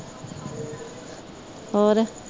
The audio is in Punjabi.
ਹੋਰ